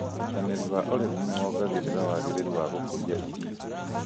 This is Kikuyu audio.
ũĩnyitanĩri wa ũrĩmi nĩwongagĩrĩra wagĩrĩru wa gũkũria irio